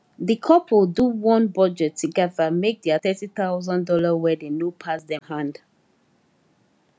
the couple do one budget together make their thirty thousand dollar wedding no pass hand